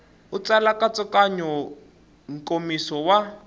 u tsala nkatsakanyo nkomiso wa